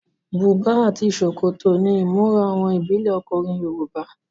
Bùbá àti ṣòkòtò ni ìmúra àwọn ìbílẹ ọkùnrin Yorùbá.